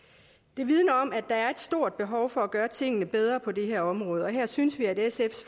det vidner om at der er et stort behov for at gøre tingene bedre på det her område og her synes vi at sf